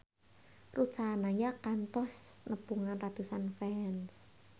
Ruth Sahanaya kantos nepungan ratusan fans